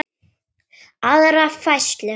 aðra færslu.